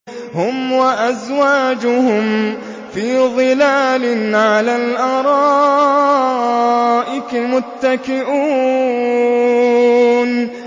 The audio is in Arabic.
هُمْ وَأَزْوَاجُهُمْ فِي ظِلَالٍ عَلَى الْأَرَائِكِ مُتَّكِئُونَ